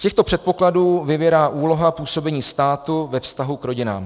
Z těchto předpokladů vyvěrá úloha působení státu ve vztahu k rodinám.